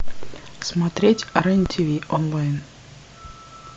смотреть рен тв онлайн